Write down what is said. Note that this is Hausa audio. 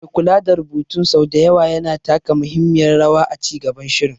Mai kula da rubutun sau da yawa yana taka muhimmiyar rawa a ci gaban shirin.